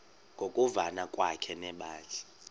ngokuvana kwakhe nebandla